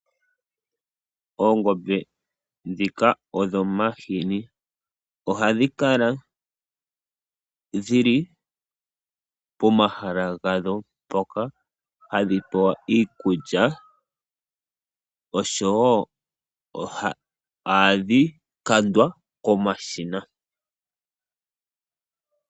Oongombe dhoka dhomahini ohadhi kala dhili pomahala gadho mpoka hadhi pewa iikulya oshowo ohadhi kandwa komashina.